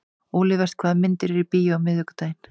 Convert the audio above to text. Olivert, hvaða myndir eru í bíó á miðvikudaginn?